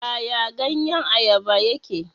Yaya ganyen Ayaba yake?